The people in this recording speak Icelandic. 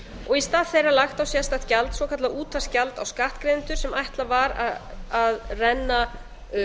og í stað þeirra lagt á sérstakt gjald svokallað útvarpsgjald á skattgreiðendur sem ætlað var að renna